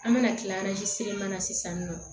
An bɛna kila seremanin na sisan nɔ